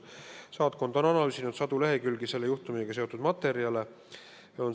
Saatkond on analüüsinud sadu lehekülgi selle juhtumiga seotud materjale.